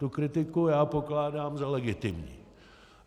Tu kritiku já pokládám za legitimní.